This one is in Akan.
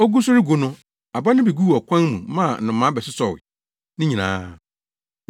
Ogu so regu no, aba no bi guu ɔkwan mu maa nnomaa bɛsosɔw ne nyinaa.